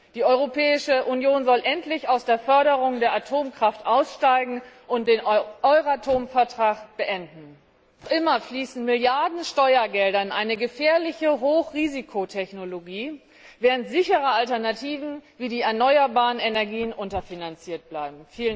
Die Europäische Union soll endlich aus der Förderung der Atomkraft aussteigen und den Euratom Vertrag beenden. Noch immer fließen Milliarden an Steuergeldern in eine gefährliche Hochrisikotechnologie, während sichere Alternativen wie die erneuerbaren Energien unterfinanziert bleiben.